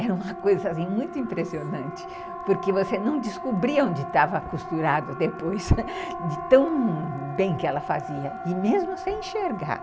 Era uma coisa muito impressionante, porque você não descobria onde estava costurada depois, de tão bem que ela fazia, e mesmo sem enxergar.